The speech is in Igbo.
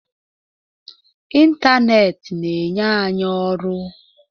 Ịntanetị na-enye anyị ọrụ.